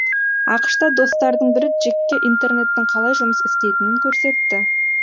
ақш та достардың бірі джекке интернеттің қалай жұмыс істейтінін көрсетті